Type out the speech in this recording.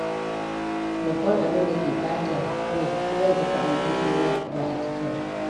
Babban abin da ke ɓatan rai zan fita aljihuna ba a cike ba.